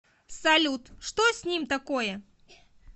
салют что с ним такое